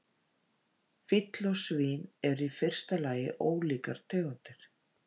Fíll og svín eru í fyrsta lagi ólíkar tegundir.